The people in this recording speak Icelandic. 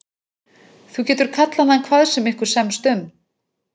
Þú getur kallað hann hvað sem ykkur semst um.